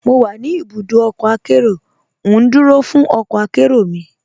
Mo wà ní ibùdọ ọkọ akẹró, ndúró fún ọkọ akẹró mi.